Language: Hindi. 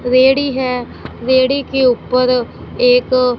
रेड़ी हैं रेड़ी के ऊपर एक--